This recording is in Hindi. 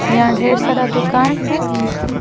यहां ढेर सारा दुकान है।